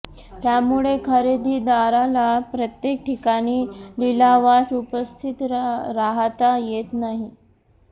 त्यामुळे खरेदीदाराला प्रत्येक ठिकाणी लिलावास उपस्थित राहाता येत नाही